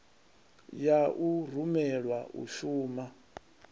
ya u rumelwa u shuma